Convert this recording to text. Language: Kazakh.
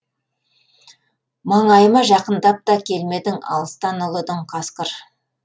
маңайыма жақындап та келмедің алыстан ұлыдың қасқыр